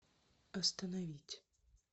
остановить